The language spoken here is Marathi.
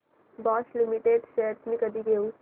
बॉश लिमिटेड शेअर्स मी कधी घेऊ